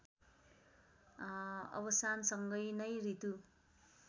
अवसानसँग नै ऋतु